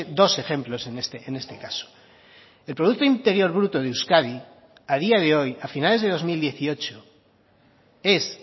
dos ejemplos en este caso el producto interior bruto de euskadi a día de hoy a finales de dos mil dieciocho es